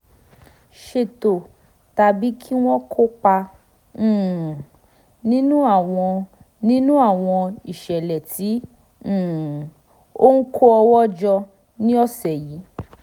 ṣètò tàbí kí wọ́n kópa um nínú àwọn nínú àwọn ìṣẹ̀lẹ̀ tí um ó ń kó owó jọ ní ọ̀sẹ̀ yìí